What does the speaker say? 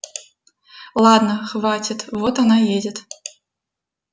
ладно хватит вот она едет